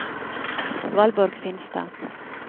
Valborg Finstad